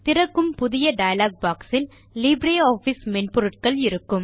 திறக்கும் புதிய dialog box ல் லீப்ரே ஆஃபிஸ் மென்பொருட்கள் இருக்கும்